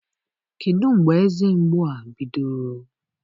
Kedụ mgbe eze mgbu a bidoro?